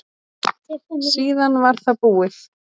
Síðan var það búið.